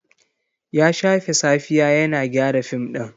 Ya shafe safiya yana gyara fim ɗin.